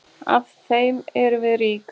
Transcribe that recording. Af þeim erum við rík.